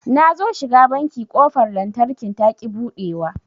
Nazo shiga banki ƙofar lantarkin taƙi buɗewa